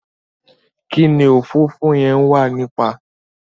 kíni òfófó yen wà nípa?